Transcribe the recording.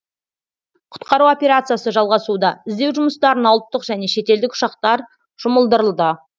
құтқару операциясы жалғасуда іздеу жұмыстарына ұлттық және шетелдік ұшақтар жұмылдырылды